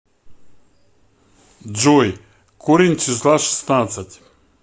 джой корень числа шестнадцать